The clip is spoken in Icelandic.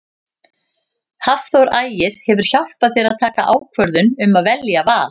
Hafþór Ægir hefur hjálpað þér að taka ákvörðun um að velja Val?